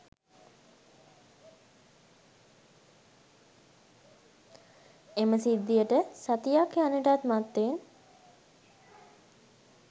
එම සිද්ධියට සතියක් යන්නටත් මත්තෙන්